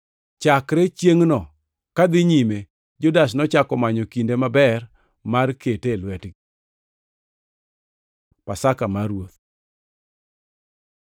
Chakre chiengʼno kadhi nyime Judas nochako manyo kinde maber mar kete e lwetgi. Pasaka mar Ruoth